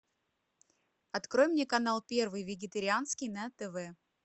открой мне канал первый вегетарианский на тв